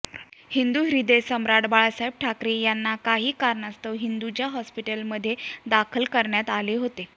हिंदुह्र्द्ययसम्राट बाळासाहेब ठाकरे यानां काही कारणास्तव हिंदुजा होस्पिटल मध्दे दाखल करण्यारत आले होते